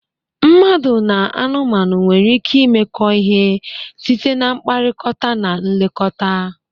Mmadụ na anụmanụ nwere ike imekọ ihe site na mkpakọrịta na nlekọta.